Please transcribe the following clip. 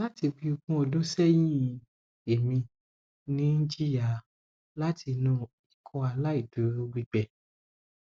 lati bi ogun odun sehin emi n jiya lati inu ikọaláìdúró gbigbẹ